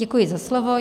Děkuji za slovo.